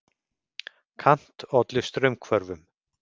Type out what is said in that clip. Kant olli straumhvörfum.